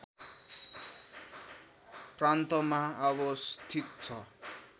प्रान्तमा अवस्थित छ